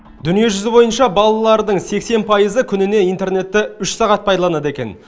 дүниежүзі бойынша балалардың сексен пайызы күніне интернетті үш сағат пайдаланады екен